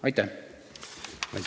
Aitäh!